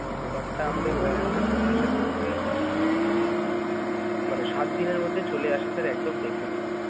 product টা আমাদের warehouse এ চলে আসে ধরুন ওই, মানে সাত দিনের মধ্যে চলে আসে sir একদম definite ।